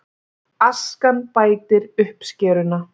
Askan bætir uppskeruna